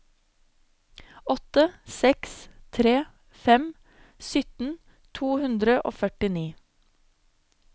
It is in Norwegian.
åtte seks tre fem sytten to hundre og førtini